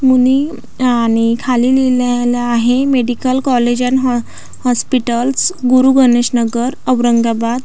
मुनी आणि खाली लिहिलेल आहे मेडिकल कॉलेज अन्ड हॉ हॉस्पिटलस गुरु गणेश नगर औरंगाबाद.